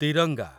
Tiranga